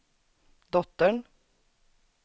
dottern